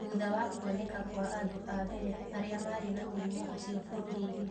thutha wa kuoneka kwa andũ a mbere arĩa marĩ na mũrimũ ũcio bũrũri-inĩ.